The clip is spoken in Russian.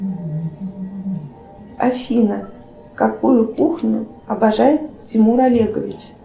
афина какую кухню обожает тимур олегович